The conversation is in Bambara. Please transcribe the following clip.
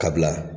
Ka bila